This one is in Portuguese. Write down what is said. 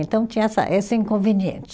Então tinha essa esse inconveniente.